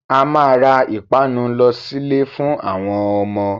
A máa ra ìpanu lọ sílè fún àwọn ọmọ.